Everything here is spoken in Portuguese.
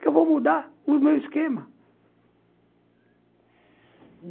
Que eu vou mudar o meu esquema.